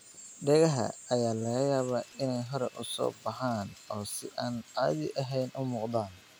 Dhegaha ayaa laga yaabaa inay hore u soo baxaan oo si aan caadi ahayn u muuqdaan.